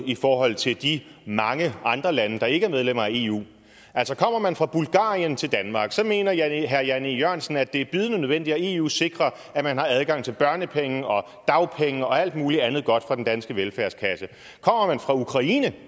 i forhold til de mange andre lande der ikke er medlemmer af eu kommer man fra bulgarien til danmark mener herre jan e jørgensen at det er bydende nødvendigt at eu sikrer at man har adgang til børnepenge og dagpenge og alt mulig andet godt fra den danske velfærdskasse kommer man fra ukraine